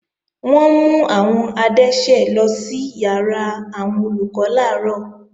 Wọ́n mú àwọn adẹ́ṣẹ̀ lọ sí ìyàrá àwọn Olùkọ́ làárọ̀